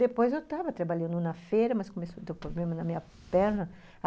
Depois eu tava trabalhando na feira, mas começou a ter problema na minha perna.